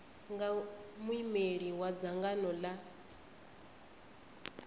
nga muimeli wa dzangano la